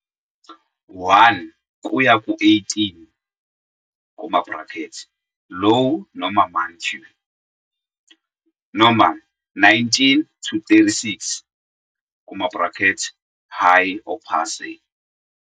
1 kuya ku-18, Low noma Manque, noma 19 to 36, High or Passe,